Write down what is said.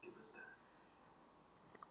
Nóel, lækkaðu í hátalaranum.